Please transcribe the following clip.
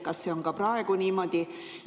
Kas see on ka praegu niimoodi?